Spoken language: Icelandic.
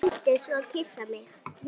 Vildi svo kyssa mig.